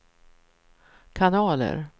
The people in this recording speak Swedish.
kanaler